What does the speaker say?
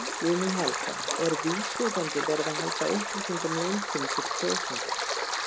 Guðný Helga: Er vísvitandi verið að halda upplýsingum leyndum fyrir kjósendum?